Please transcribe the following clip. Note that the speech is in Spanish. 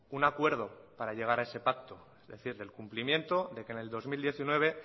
un acuerdo para llegar a ese pacto es decir del cumplimiento de que en el dos mil diecinueve